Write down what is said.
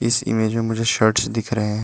इस इमेज में मुझे शर्ट्स दिख रहे हैं।